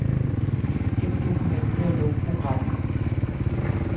Gem dokumentet og luk programmet.